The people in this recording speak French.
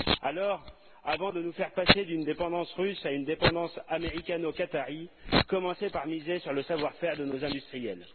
Alors, avant de nous faire passer d'une dépendance russe à une dépendance américano qatarie, commencez par miser sur le savoir faire de nos industriels.